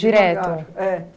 É